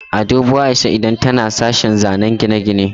A dubo Aisha idan tana sashen zanen gine-gine.